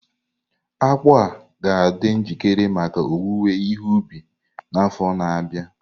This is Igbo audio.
Akpu ahu ga-adị njikere maka owuwe ihe ubi n'afọ na-abịa.